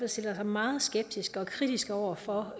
stiller sig meget skeptiske og kritiske over for